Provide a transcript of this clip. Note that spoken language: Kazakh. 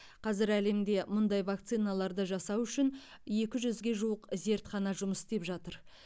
қазір әлемде мұндай вакциналарды жасау үшін екі жүзге жуық зертхана жұмыс істеп жатыр